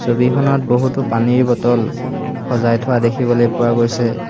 ছবিখনত বহুতো পানীৰ বটল সজাই থোৱা দেখিবলৈ পোৱা গৈছে।